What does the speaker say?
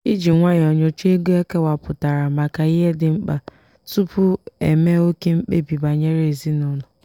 iji nwayọọ nyocha ego ekewapụtara maka ihe dị mkpa tupu eme oke mkpebi banyere ezinụlọ.